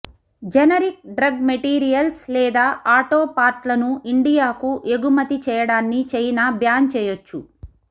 generic drug materials లేదా auto పార్ట్లను ఇండియాకు ఎగుమతి చేయడాన్ని చైనా బ్యాన్ చేయొచ్చు